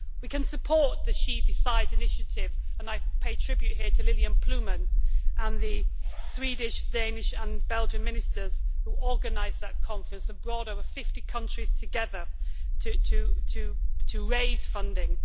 We can support the She Decides' initiative, and I pay tribute here to Lilianne Ploumen and the Swedish, Danish and Belgian Ministers who organised that conference and brought over 50 countries together to raise funding.